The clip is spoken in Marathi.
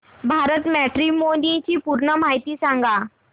भारत मॅट्रीमोनी ची पूर्ण माहिती सांगा